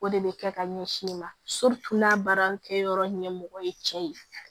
O de bɛ kɛ ka ɲɛsin i ma n'a baarakɛyɔrɔ ɲɛmɔgɔ ye cɛ ye